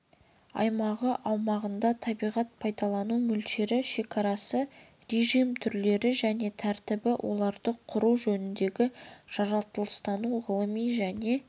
аймағы аумағында табиғат пайдалану мөлшері шекарасы режим түрлері және тәртібі оларды құру жөніндегі жаратылыстану-ғылыми және